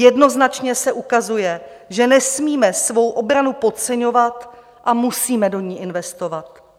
Jednoznačně se ukazuje, že nesmíme svou obranu podceňovat a musíme do ní investovat.